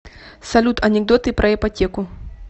салют анекдоты про ипотеку